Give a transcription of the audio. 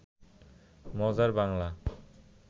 মজার বাংলা